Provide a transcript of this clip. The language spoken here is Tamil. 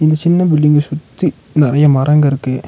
இந்த சின்ன பில்டிங்க சுத்தி நெறைய மரங்க இருக்கு.